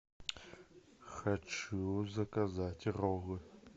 хочу заказать роллы